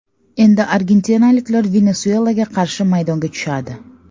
Endi argentinaliklar Venesuelaga qarshi maydonga tushadi.